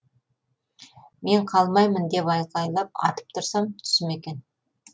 мен қалмаймын деп айқайлап атып тұрсам түсім екен